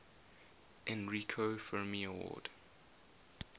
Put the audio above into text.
enrico fermi award